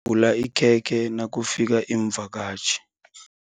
Yembula ikhekhe nakufika iimvakatjhi.